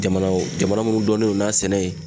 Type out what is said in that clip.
Jamana jamana munnu dɔnnen do n'a sɛnɛ ye